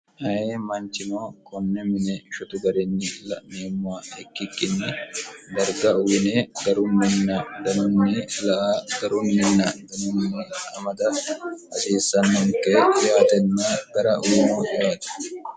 aye manchimo konne mine shotu garinyi la'neemmoha ikkikkinni darga uyine garuninna danunni la"a garunninna danunni amada hasiissannonke yaatenna bara uyinno yaate